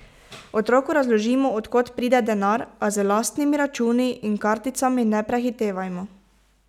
Otroku razložimo, od kod pride denar, a z lastnimi računi in karticami ne prehitevajmo.